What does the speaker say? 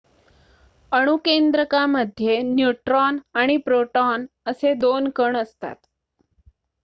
अणुकेंद्रकामध्ये neutron आणि proton असे 2 कण असतात